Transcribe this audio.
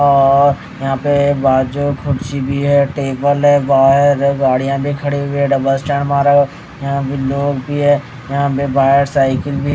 और यहां पे बाजू कुर्सी भी है टेबल है गाड़ियां भी खड़ी हुई है डबल स्टैंड मारा हुआ यहां भी लोग भी है यहां पे बाहर साइकिल भी--